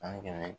San kɛmɛ